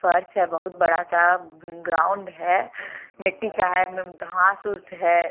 फर्श है बहुत बड़ा सा ग्राउंड है मिट्टी का है घास फूस है।